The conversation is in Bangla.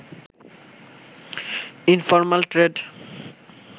informal trade